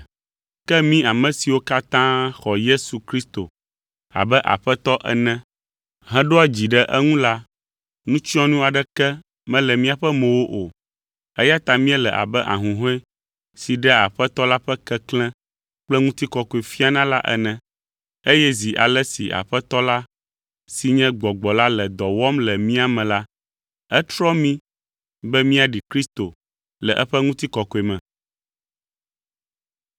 Ke mí ame siwo katã xɔ Yesu Kristo abe Aƒetɔ ene heɖoa dzi ɖe eŋu la, nutsyɔnu aɖeke mele míaƒe mowo o, eya ta míele abe ahuhɔ̃e si ɖea Aƒetɔ la ƒe keklẽ kple ŋutikɔkɔe fiana la ene. Eye zi ale si Aƒetɔ la si nye Gbɔgbɔ la le dɔ wɔm le mía me la, etrɔa mí be míaɖi Kristo le eƒe ŋutikɔkɔe me.